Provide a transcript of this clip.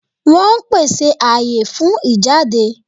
Wọ́n ón pèsè àyè fún ìjáde